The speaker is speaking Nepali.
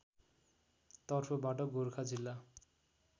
तर्फबाट गोरखा जिल्ला